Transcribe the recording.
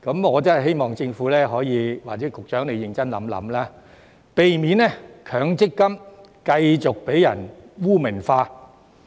我真的希望政府或局長可以認真考慮，避免強積金繼續被人污名化。